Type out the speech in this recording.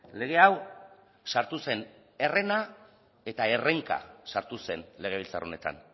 lege hau sartu zen herrena eta errainka sartu zen legebiltzar honetan